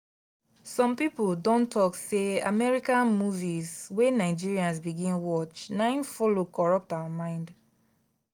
some people don talk say american movies wey nigerians begin watch na him follow corrupt our mind.